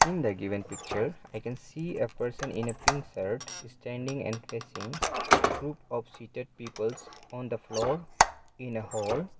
in the given picture i can see a person in a pink shirt standing and facing a group of seated peoples on the floor in a hall.